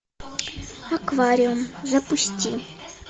аквариум запусти